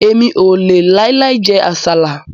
Èmi ò lè láì láì jẹ àsálà